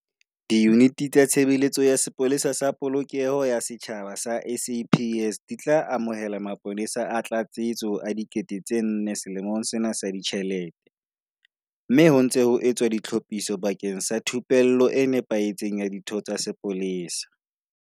Diyuniti tsa Tshebeletso ya Sepolesa sa Polokeho ya Setjhaba tsa SAPS di tla amohela mapolesa a tlatsetso a 4 000 selemong sena sa ditjhelete, mme ho ntse ho etswa ditlhophiso bakeng sa thupello e nepahetseng ya ditho tsa sepolesa.